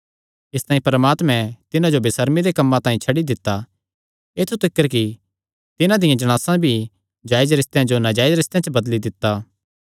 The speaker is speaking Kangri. इसतांई परमात्मैं तिन्हां जो बेसर्मी दे कम्मां तांई छड्डी दित्ता ऐत्थु तिकर कि तिन्हां दियां जणासां भी जायज रिस्तेयां जो नाजायज रिस्तेयां च बदली दित्ता